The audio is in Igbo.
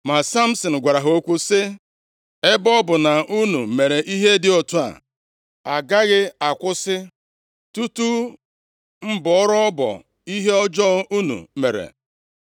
Ma Samsin gwara ha okwu sị, “Ebe ọ bụ na unu mere ihe dị otu a, agaghị akwụsị tutu m bọrọ ọbọ ihe ọjọọ unu mere.”